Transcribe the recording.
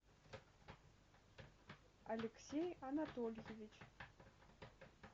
алексей анатольевич